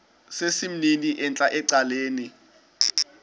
sesimnini entla ecaleni